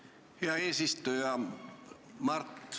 Aitäh, hea eesistuja!